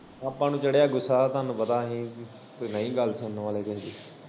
ਆਪਾਂ ਨੂੰ ਚੜਿਆ ਗੁੱਸਾ ਤਾਨੂੰ ਪਤਾ ਅਸੀ ਨਈ ਗੱਲ ਸੁਣਨ ਵਾਲੇ ਕਿਸੇ ਦੀ।